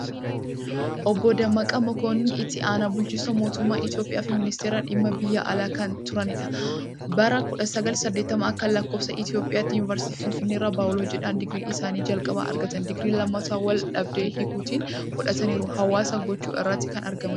Obbo Dammaqa Mokonnin, Itti aanaa bulchinsaa mootumma Itoophiyaa fi ministeera dhimma biyya alaa kan turaanidha. Bara 1980 A.L.I Yunivarsiiti Finfinneerraa Baayolojiidhaan digrii isaanii jalqabaa argatan. Digrii lammataa wal-dhabdee hiikuutiin fudhataniiru. Hawaasa gochuu irratti kan argaama jiraan.